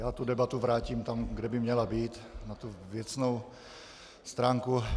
Já tu debatu vrátím tam, kde by měla být, na tu věcnou stránku.